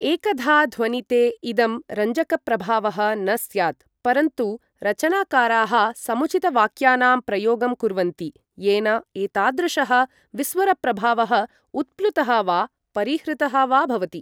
एकधा ध्वनिते इदं रञ्जकप्रभावः न स्यात्, परन्तु रचनाकाराः समुचितवाक्यानां प्रयोगं कुर्वन्ति येन एतादृशः विस्वरप्रभावः उत्प्लुतः वा परिहृतः वा भवति।